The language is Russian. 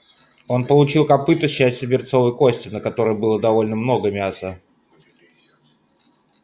он получил копыто с частью берцовой кости на которой было довольно много мяса